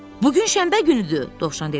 Bu gün şənbə günüdür, Dovşan dedi.